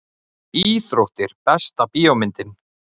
Íþróttir Besta bíómyndin?